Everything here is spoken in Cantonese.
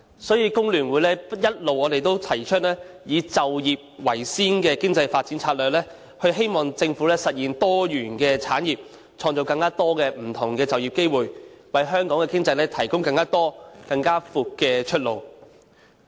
因此，工聯會一直提出以就業為先的經濟發展策略，希望政府實現多元產業，以創造更多不同的就業機會，為香港的經濟提供更多及更廣闊的出路。